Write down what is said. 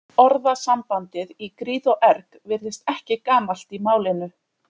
Orðasambandið í gríð og erg virðist ekki gamalt í málinu.